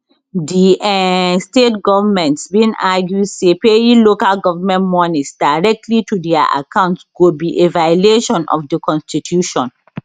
di um state goments bin argue say paying local goment monies directly to dia accounts go be a violation of di constitution